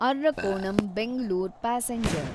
Arakkonam Bengaluru passenger